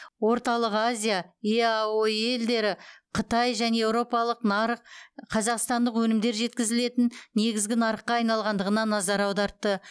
орталық азия еаэо елдері қытай және еуропалық нарық қазақстандық өнімдер жеткізілетін негізгі нарыққа айналғандығына назар аудартты